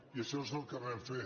i això és el que vam fer